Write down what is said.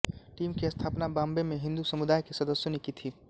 team की स्थापना बॉम्बे में हिंदू समुदाय के सदस्यों ने की थी